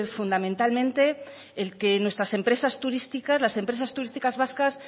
fundamentalmente el que nuestras empresas turísticas las empresas turísticas vascas